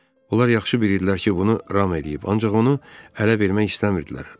Onlar yaxşı bilirdilər ki, bunu Ram eləyib, ancaq onu hələ vermək istəmirdilər.